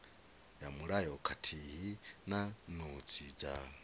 mulayo khathihi na notsi dza